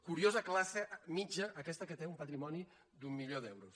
curiosa classe mitjana aquesta que té un patrimoni d’un milió d’euros